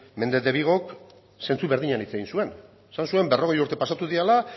méndez de vigok zentzu berdinean hitz egin zuen esan zuen berrogei urte pasatu direla